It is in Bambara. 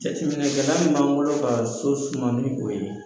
Jateminɛ kɛla min b'an bolo ka so suma ni o ye